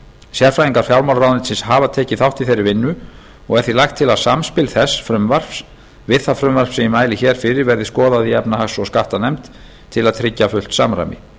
sérfræðingar fjármálaráðuneytisins hafa tekið þátt í þeirri vinnu og er því lagt til að samspil þess frumvarps við það frumvarp sem ég mæli hér fyrir verði skoðað í efnahags og skattanefnd til að tryggja samræmi